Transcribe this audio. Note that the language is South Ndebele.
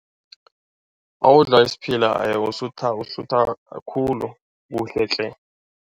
Nawudla isiphila usutha usutha kakhulu, kuhle tle.